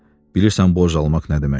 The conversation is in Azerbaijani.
Bilirsən borc almaq nə deməkdir?